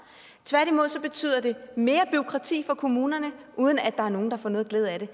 tværtimod betyder det mere bureaukrati for kommunerne uden at der er nogen der får nogen glæde af det